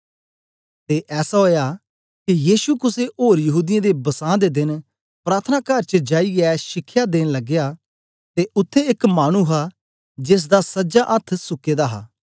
ते ऐसा ओया के यीशु कुसे ओर यहूदीयें दे बसां दे देन प्रार्थनाकार च जाईयै शिखया देन लगया ते उत्थें एक मानु हा जेसदा सजा अथ्थ सुके दा हा